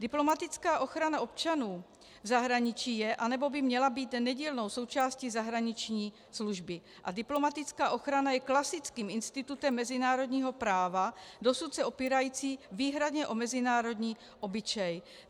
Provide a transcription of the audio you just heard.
Diplomatická ochrana občanů v zahraničí je, anebo by měla být nedílnou součástí zahraniční služby a diplomatická ochrana je klasickým institutem mezinárodního práva, dosud se opírající výhradně o mezinárodní obyčej.